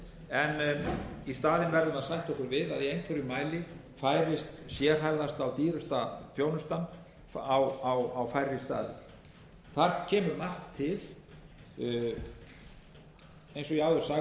en í staðinn verðum við að sætta okkur við að í einhverjum mæli færist sérhæfðasta og dýrasta þjónustan á færri staði þar kemur margt til eins og ég áður sagði má með bættum